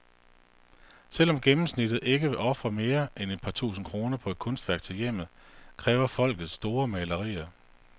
Selv om gennemsnittet ikke vil ofre mere end et par tusind kroner på et kunstværk til hjemmet, kræver folket store malerier.